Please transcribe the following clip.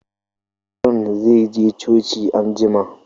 John zai je coci anjima